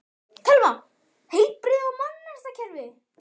Telma: Heilbrigðis- og menntakerfið?